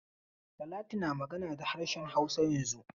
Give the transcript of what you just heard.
Talatu na magana da harshen Hausa yanzun.